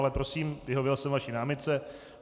Ale prosím, vyhověl jsem vaší námitce.